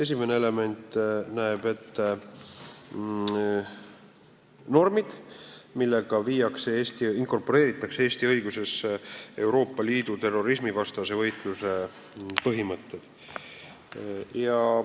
Esimene element näeb ette normid, millega inkorporeeritakse Eesti õigusesse Euroopa Liidu terrorismivastase võitluse põhimõtted.